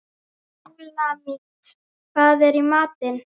Súlamít, hvað er í matinn?